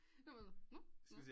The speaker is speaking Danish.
Det var sådan nå